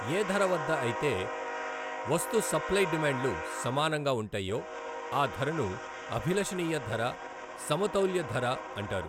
ఏ ధర వద్ద అయితే వస్తు సప్లయి డిమాండ్లు సమానంగా వుంటాయో అ ధరను అభిలషణీయ ధర, సమతౌల్య ధర అంటారు.